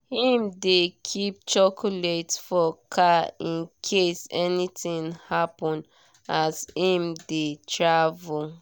him dey keep chocolate for car in case anything happen as him dey travel.